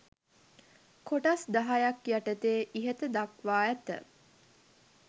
කොටස් දහයක් යටතේ ඉහත දක්වා ඇත.